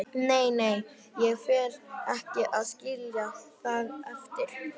Nei, nei, ég fer ekki að skilja það eftir.